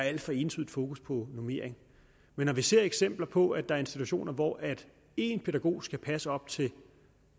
alt for ensidigt fokus på normering men når vi ser eksempler på at der er institutioner hvor én pædagog skal passe op til